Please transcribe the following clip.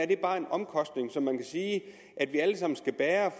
det bare er en omkostning som man kan sige at vi alle sammen skal bære